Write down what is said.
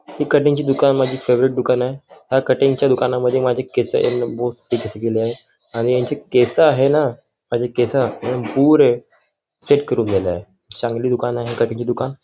cutting चे दुकान माझी फेवरेट दुकान आहे ह्या कटिंग च्या दुकान मध्ये माझे केस मस्त पैकी केस केलेली आहे आणि ह्यांचे केस आहे ना केस पुरे सेट करून दिलेय चांगली दुकान आहे कटिंग चे दुकान --